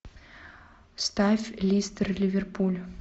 ставь лестер ливерпуль